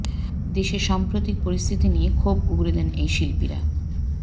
দেশের সাম্প্রতিক পরিস্থিতি নিয়ে ক্ষোভ উগড়ে দেন এই শিল্পীরা